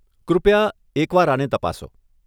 કૃપયા એક વાર આને તપાસો.